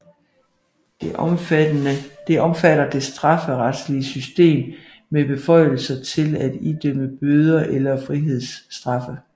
Det omfatter det strafferetlige system med beføjelser til at idømme bøder eller frihedsstraffe